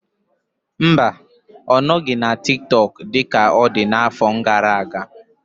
Mba, ọ nọghị na TikTok dị ka ọ dị n'afọ gara aga.